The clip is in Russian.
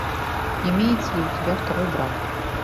имеется ли у тебя второй брак